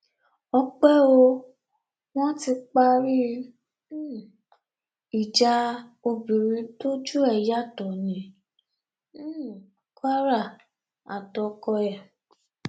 ọpẹ o wọn ti parí um ìjà obìnrin tójú ẹ yàtọ ní um kwara àtọkọ ẹ